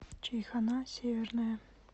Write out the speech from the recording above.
чайхона северная